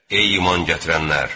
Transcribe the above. Ey iman gətirənlər!